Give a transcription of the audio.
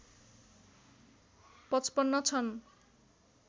५५ छन्